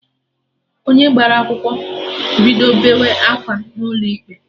Onye gbara akwụkwọ bido beewe akwa n'ụlọ ikpe